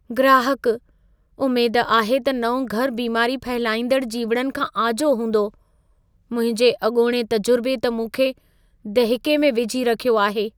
ग्राहकुः "उमेद आहे त नओं घरु बीमारी फहिलाईंदड़ जीविड़नि खां आजो हूंदो। मुंहिंजे अॻोणे तजुर्बे त मूंखे दहिके में विझी रखियो आहे।"